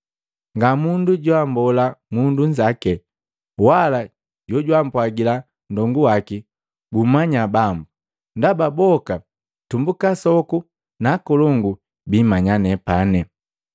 Nga mundu joammbola mundu nzaki, wala jojwampwagila nndongu waki, ‘Gummanya Bambu.’ Ndaba boka, tumbuka asoku na akolongu biimanya nepani.